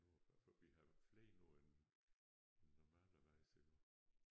Nu for for vi har flere nu end end normalerweise iggå